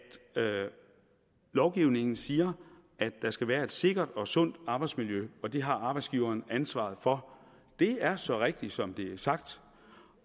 lovgivningen siger at der skal være et sikkert og sundt arbejdsmiljø og at det har arbejdsgiveren ansvaret for det er så rigtigt som det er sagt